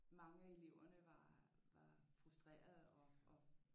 Mange af eleverne var frustrerede og